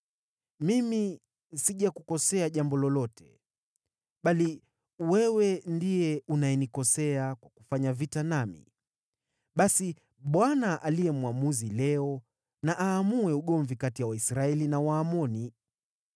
Mimi sijakukosea jambo lolote, bali wewe ndiye unayenikosea kwa kufanya vita nami. Basi Bwana , aliye Mwamuzi, leo na aamue ugomvi kati ya Waisraeli na Waamoni.”